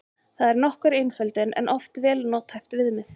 Það er nokkur einföldun en oft vel nothæft viðmið.